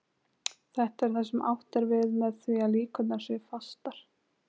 Þetta er það sem átt er við með því að líkurnar séu fastar.